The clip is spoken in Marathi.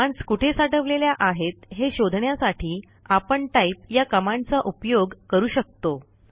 कमांडस् कुठे साठवलेल्या आहेत हे शोधण्यासाठी आपण टाइप या कमांडचा उपयोग करू शकतो